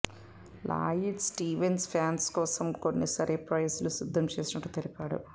Lloyd Stevens fans కోసం కొన్ని surprise లు సిద్దం చేసినట్టు తెలిపాడు